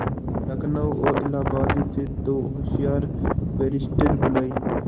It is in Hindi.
लखनऊ और इलाहाबाद से दो होशियार बैरिस्टिर बुलाये